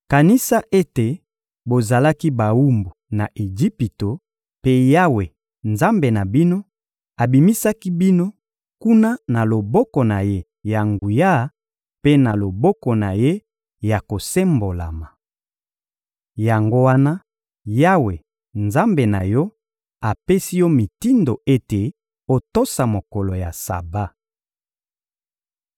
Kanisa ete bozalaki bawumbu na Ejipito, mpe Yawe, Nzambe na bino, abimisaki bino kuna na loboko na Ye ya nguya mpe na loboko na Ye ya kosembolama. Yango wana, Yawe, Nzambe na yo, apesi yo mitindo ete otosa mokolo ya Saba.